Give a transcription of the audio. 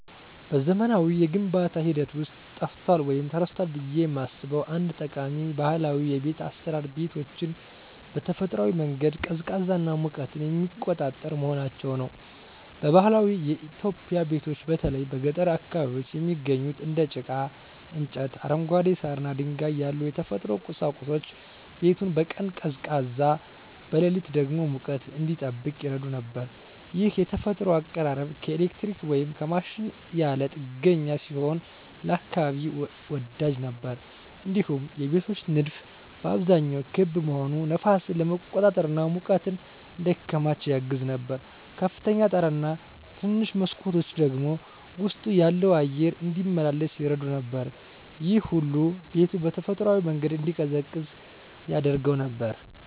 በዘመናዊው የግንባታ ሂደት ውስጥ ጠፍቷል ወይም ተረስቷል ብዬ የማስበው አንድ ጠቃሚ ባህላዊ የቤት አሰራር ቤቶችን በተፈጥሯዊ መንገድ ቀዝቃዛና ሙቀትን የሚቆጣጠር መሆናቸው ነው። በባህላዊ ኢትዮጵያዊ ቤቶች በተለይ በገጠር አካባቢዎች የሚገኙት እንደ ጭቃ፣ እንጨት፣ አረንጓዴ ሳር እና ድንጋይ ያሉ የተፈጥሮ ቁሳቁሶች ቤቱን በቀን ቀዝቃዛ፣ በሌሊት ደግሞ ሙቀት እንዲጠብቅ ይረዱ ነበር። ይህ የተፈጥሮ አቀራረብ ከኤሌክትሪክ ወይም ከማሽን ያለ ጥገኛ ሲሆን ለአካባቢ ወዳጅ ነበር። እንዲሁም የቤቶች ንድፍ በአብዛኛው ክብ መሆኑ ነፋስን ለመቆጣጠር እና ሙቀት እንዳይከማች ያግዝ ነበር። ከፍተኛ ጣራ እና ትንንሽ መስኮቶች ደግሞ ውስጡ ያለው አየር እንዲመላለስ ይረዱ ነበር። ይህ ሁሉ ቤቱ በተፈጥሯዊ መንገድ እንዲቀዝቅዝ ያደርገው ነበር።